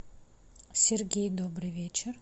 сергей добрый вечер